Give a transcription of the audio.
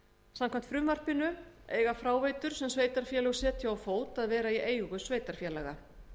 samkvæmt frumvarpinu eiga fráveitur sem sveitarfélög setja á fót að vera í eigu sveitarfélaga